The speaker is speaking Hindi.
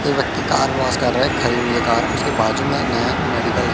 एक व्यक्ति कार वास कर रहा है खड़ी है कर उसके बाजू में नया मेडिकल --